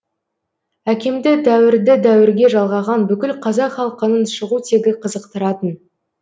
әкемді дәуірді дәуірге жалғаған бүкіл қазақ халқының шығу тегі қызықтыратын